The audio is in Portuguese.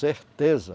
Certeza.